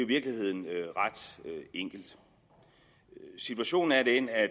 virkeligheden ret enkelt situationen er den at